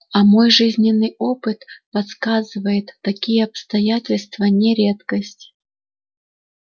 а мой жизненный опыт подсказывает такие обстоятельства не редкость